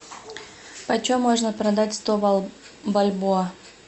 почем можно продать сто бальбоа